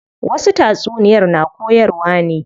Wasu tatsuniyar na koyarwa ne.